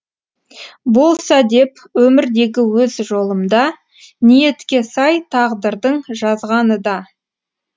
болса деп өмірдегі өз жолымда ниетке сай тағдырдың жазғаныда